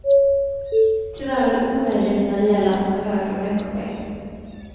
Tyvärr är det omöjligt när det gäller att få högre veckopeng.